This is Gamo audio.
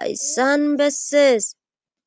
hayssan bessees.